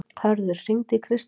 Hörður, hringdu í Kristþór.